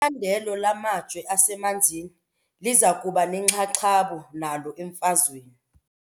Icandelo lamajo asemanzini liza kuba nenxaxheba nalo emfazweni.